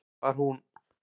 Var hún